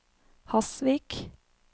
Hasvik